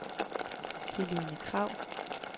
Helene Kragh